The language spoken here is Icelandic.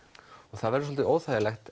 það verður soldið óþægilegt